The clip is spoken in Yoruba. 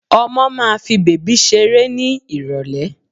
Ọmọ máa fi bèbí ṣeré ní Ìrọ̀lẹ̀